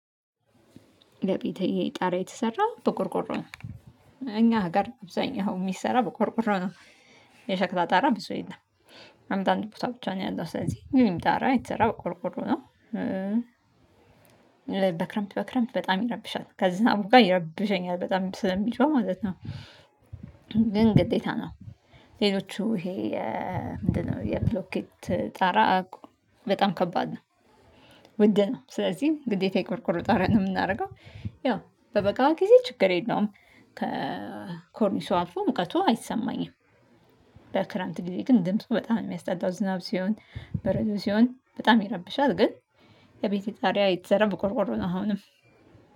የቤቴ ጣራ የተሰራው በቆርቆሮ ነው እኛ ሀገር አብዛኛው የሚሰራው በቆርቆሮ ነው የሸክላ ጣራ ብዙ የለም። አንድ አንድ ቦታ ብቻ ነው ያለው ስለዚህ የኔም ጣራ የተሰራው ቆርቆሮ ነው። በክረምት በክረምት በጣም ይረብሻል ከዝናቡ ጋር ይረብሸኛል በጣም ስለሚጮህ ማለት ነው። ግን ግዴታ ነው። ሌሎቹ ይሄ ምንድነው? የብሎኬት ጣራ በጣም ከባድ ነው። ውድ ነው ስለዚህ ግዴታ የቆርቆሮ ጣራ ነው የምናደርገው ያው በበጋው ጊዜ ችግር የለውም። ከኮርኒሱ አልፎ ሙቀቱ አይሰማኝም። በክረምት ጊዜ ግን ድምፁ በጣም የሚያስጠላው ዝናብ ሲሆን በረዶ ሲሆን በጣም ይረብሻል። ግን የቤቴ ጣራ የተሰራው ብቆርቆሮ ነው አሁንም